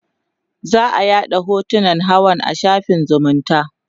za'a yaɗa hotunan hawan a shafin zumunta